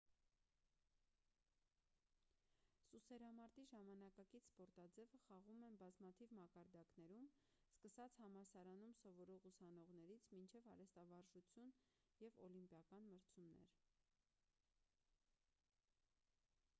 սուսերամարտի ժամանակակից սպորտաձևը խաղում են բազմաթիվ մակարդակներում սկսած համալսարանում սովորող ուսանողներից մինչև արհեստավարժություն և օլիմպիական մրցումներ